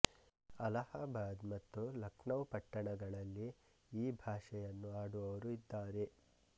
ಅಲಹಾಬಾದ್ ಮತ್ತು ಲಖನೌ ಪಟ್ಟಣಗಳಲ್ಲಿ ಈ ಭಾಷೆಯನ್ನು ಆಡುವವರು ಇದ್ದಾರೆ